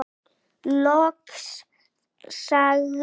Loks sagði